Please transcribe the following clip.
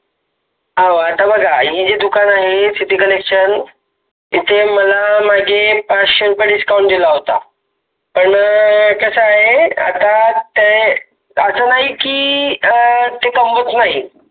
हो आता बघा हे जे दुकान आहे city collection तिथे मला मागे पाचशे रुपये Discount दिला होता पण कस आहे आता असं नाही आहे कि ते अ कमवत नाही